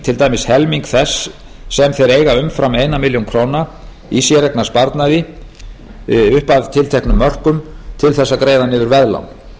til dæmis helming þess sem þeir eiga umfram eina milljón króna í séreignarsparnaði upp að tilteknum mörkum til þess að greiða niður veðlán